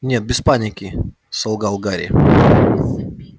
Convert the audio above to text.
нет без запинки солгал гарри